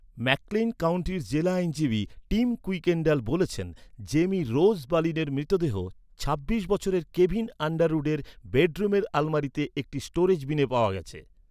McClain কাউন্টির জেলা আইনজীবী টিম কুইকেন্ডাল বলেছেন, জেমি রোজ বলিনের মৃতদেহ ছাব্বিশ বছরের কেভিন আন্ডারউডের বেডরুমের আলমারিতে একটি স্টোরেজ বিনে পাওয়া গেছে।